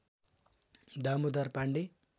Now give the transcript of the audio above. Damodar Pandey